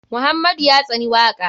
Muhammadu ya tsani waka.